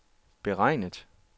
beregnet